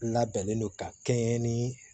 Labɛnnen don ka kɛɲɛ ni